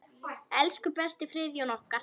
Elsku besti Friðjón okkar.